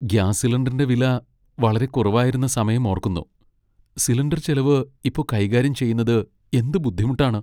Gas സിലിണ്ടറിന്റെ വില വളരെ കുറവായിരുന്ന സമയം ഓർക്കുന്നു. സിലിണ്ടർ ചെലവ് ഇപ്പൊ കൈകാര്യം ചെയ്യുന്നത്എന്ത് ബുദ്ധിമുട്ടാണ്.